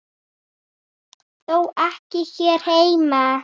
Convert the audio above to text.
Þó ekki hér heima.